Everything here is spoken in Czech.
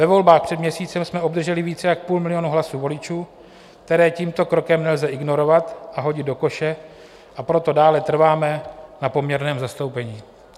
Ve volbách před měsícem jsme obdrželi více jak půl milionu hlasů voličů, které tímto krokem nelze ignorovat a hodit do koše, a proto dále trváme na poměrném zastoupení.